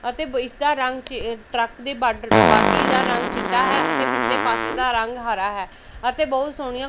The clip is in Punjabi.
ਅਤੇ ਇੱਸ ਦਾ ਰੰਗ ਟਰੱਕ ਦੀ ਬਾਡ ਬਾਡੀ ਦਾ ਰੰਗ ਚਿੱਟਾ ਹੈ ਅਤੇ ਪਿੱਛਲੇ ਪਾੱਸੇ ਦਾ ਰੰਗ ਹਰਾ ਹੈ ਅਤੇ ਬਹੁਤ ਸੋਹਣੀਆਂ--